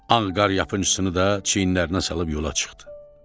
Ağqaryapıncısını da çiyinlərinə salıb yola çıxdı.